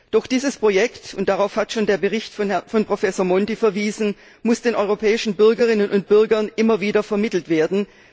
Doch dieses Projekt und darauf hat schon der Bericht von Professor Monti verwiesen muss den europäischen Bürgerinnen und Bürgern immer wieder vermittelt werden.